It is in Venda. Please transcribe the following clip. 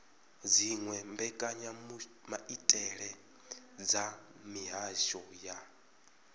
dziwe mbekanyamaitele dza mihasho ya